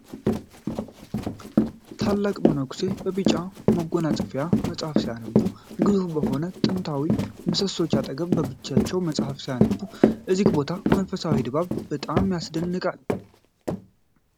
ታላቅ መነኩሴ! በቢጫ መጎናጸፊያ ፣ መጻሕፍት ሲያነቡ፣ ግዙፍ በሆኑት ጥንታዊ ምሰሶዎች አጠገብ በብቸኝነት መጻፍ ሲያነቡ! የዚህ ቦታ መንፈሳዊ ድባብ በጣም ያስደንቃል!